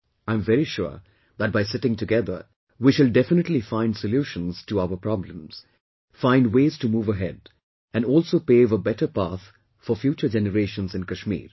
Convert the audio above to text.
I am very sure that by sitting together we shall definitely find solutions to our problems, find ways to move ahead and also pave a better path for future generations in Kashmir